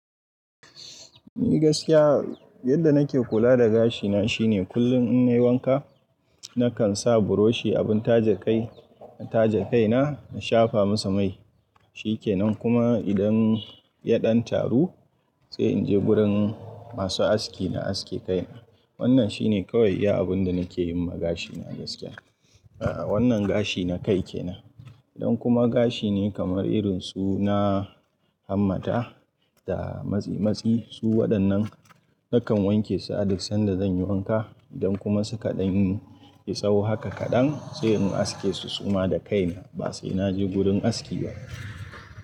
Ni gaskiya yadda nake kula da gashina shine kullum in nayi wanka, nakan sa buroshi, abin taje kai, na taje kaina na shafa masa mai. Shi kenan kuma idan ya ɗan taru sai in je gurin masu aski na aske kaina. Wannan shine kawai iya abun da nake yi ma gashina gaskiya. A'a wannan gashi na kai kenan. Idan kuma gashi ne kamar irin su na Hammata da matse matsi su waɗannan nakan wanke su a duk sanda zan yi wanka. Idan kuma suka ɗan yi tsawo haka kaɗan sai in aske su suma da kaina ba sai na je gurin aski ba.